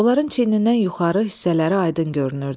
Onların çiynindən yuxarı hissələri aydın görünürdü.